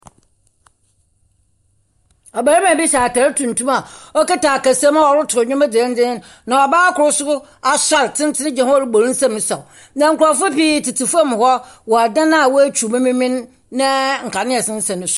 Ɔbarima bi hyɛ atar tuntum a ɔkuta ɔkasamu a ɔrotow ndwom dzendzeen, na ɔbaa kor nso, asɔr tsentsen gyina hɔ rebɔ ne nsam resaw. Na nkurɔfoɔ pii tsetse fam hɔ wɔ ɔdan a wɔatwiw mu memen, na nkanea sensɛn so.